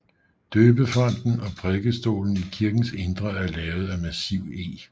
Døbefonten og prædikestolen i kirkens indre er lavet i massiv eg